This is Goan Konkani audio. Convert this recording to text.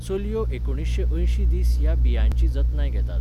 चलयो एकुणशे अंयशीं दीस ह्या बियांची जतनाय घेतात.